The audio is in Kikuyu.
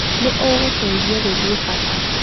Nĩ ũgũteithio gũthiĩ bata.